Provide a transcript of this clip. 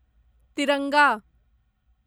तिरंगा